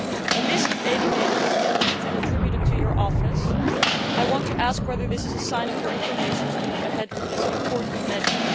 A list of 80 names has been leaked and attributed to your office. I want to ask whether this is a sign of your inclination to move ahead with this important measure.